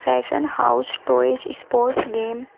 fashion house toys sport game --